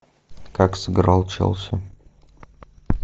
как сыграл челси